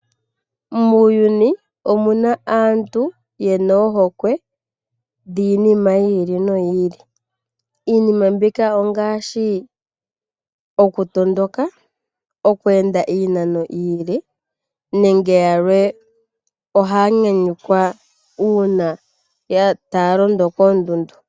Muuyuni omina aantu yena ohokwe yiinima yi ili no yi ili. Iinima mbika ongaashi, oku tondoka, okweenda iinano iile. Aantu yamwe oha ya nyanyulwa ngele ta ya londo koondundu.